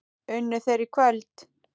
Unnu þeir í kvöld?